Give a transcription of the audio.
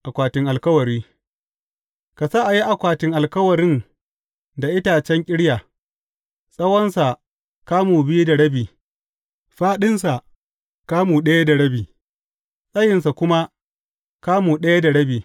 Akwatin alkawari Ka sa a yi akwatin alkawarin da itacen ƙirya, tsawonsa kamu biyu da rabi, fāɗinsa kamu ɗaya da rabi, tsayinsa kuma kamu ɗaya da rabi.